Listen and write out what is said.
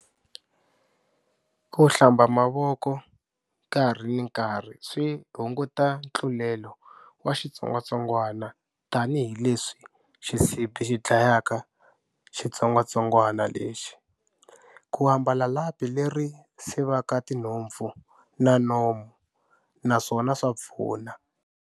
Ku hlamba mavoko, nkarhi ni nkarhi swi hunguta ntlulelo wa xitsongwatsongwana tani hileswi xisibi xi dlayaka xitsongwatsongwana lexi. Ku ambala lapi leri sivaka tinhompfu na nomu, naswona swa pfuna.